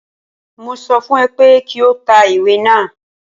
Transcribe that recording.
Mo sọ fún ẹ pé kí o ta ìwé náà.